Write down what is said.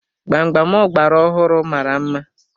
Gbam gbam ọgbara ọhụụ mara mma.